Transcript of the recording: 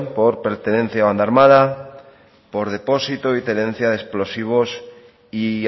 por pertenencia a banda a armada por depósito y tenencia de explosivos y